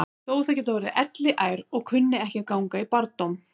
Þótt þau geti orðið elliær og kunni ekki að ganga í barndóm.